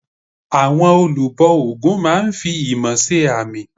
Àwọn olùbọ ògún máa n fi imọ̀ se àmì